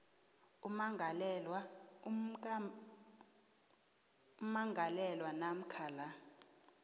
ummangalelwa namkha la